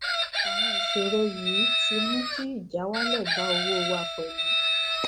àwọn ìṣòro yìí ti mú kí ìjáwálè bá owó wa pèlú